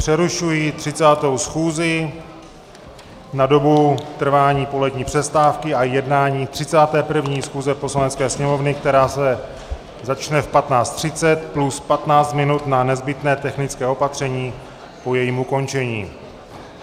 Přerušuji 30. schůzi na dobu trvání polední přestávky a jednání 31. schůze Poslanecké sněmovny, která se začne v 15.30 plus 15 minut na nezbytné technické opatření po jejím ukončení.